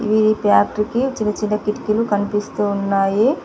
ఈ ఫ్యాక్టరీ కి చిన్న చిన్న కిటికీలు కనిపిస్తూ ఉన్నాయి.